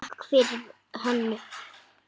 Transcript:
Takk fyrir Hönnu.